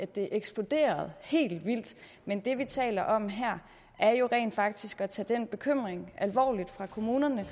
det eksploderede helt vildt men det vi taler om her er jo rent faktisk at tage den bekymring fra kommunernes